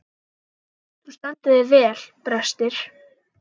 Þú stendur þig vel, Brestir!